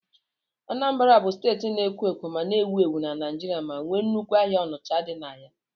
Anambra bụ steeti na-ekwo ekwo ma na-ewu ewu na Naijiria ma nwee nnukwu ahịa Onicha dị na ya.